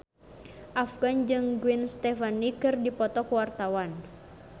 Afgan jeung Gwen Stefani keur dipoto ku wartawan